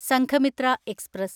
Sanghamitra express